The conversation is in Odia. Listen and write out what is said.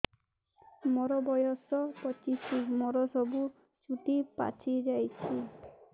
ମୋର ବୟସ ପଚିଶି ମୋର ସବୁ ଚୁଟି ପାଚି ଯାଇଛି